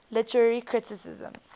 literary criticism